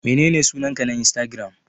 Menene sunanka na insatigiram?